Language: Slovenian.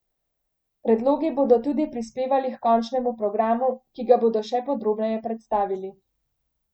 Predlogi bodo tudi prispevali h končnemu programu, ki ga bodo še podrobneje predstavili.